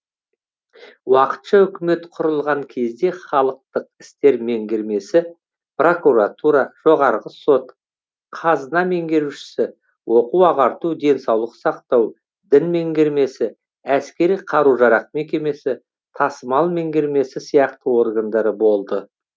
уақытша үкімет құрылған кезде халықтық істер меңгермесі прокуратура жоғарғы сот қазына меңгерушісі оқу ағарту денсаулық сақтау дін меңгермесі әскери қару жарақ мекемесі тасымал меңгермесі сияқты органдары болды